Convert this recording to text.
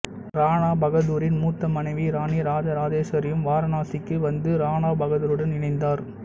ராணா பகதூரின் மூத்த மனைவி ராணி ராஜராஜேஸ்வரியும் வாராணாசிக்கு வந்து ராணா பகதூருடன் இணைந்தார்